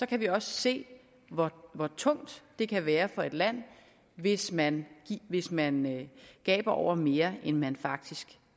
kan vi også se hvor tungt det kan være for et land hvis man hvis man gaber over mere end man faktisk